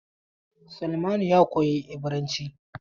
Salmanu ya koyi Ibiranci.